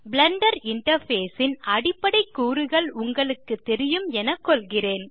Blender interface ன் அடிப்படை கூறுகள் உங்களுக்கு தெரியும் என கொள்கிறேன்